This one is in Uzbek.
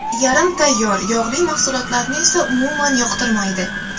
Yarim tayyor, yog‘li mahsulotlarni esa umuman yoqtirmaydi.